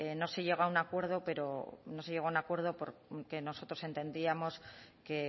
no se llegó a un acuerdo porque nosotros entendíamos que